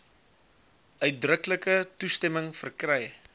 uitdruklike toestemming verkry